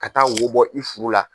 Ka taa wo bɔ i furu la.